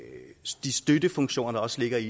de støttefunktioner der også ligger i